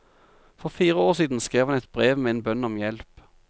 For fire år siden skrev han et brev med en bønn om hjelp.